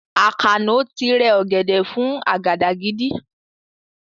Àkànó ti rẹ ọ̀gẹ̀dẹ̀ fún àgàdàgídí